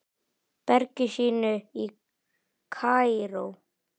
bergi sínu í Kaíró.